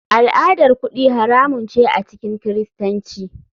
Al'adar kudi haramun ce a cikin kiristanci.